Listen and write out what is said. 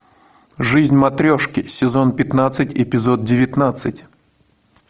жизнь матрешки сезон пятнадцать эпизод девятнадцать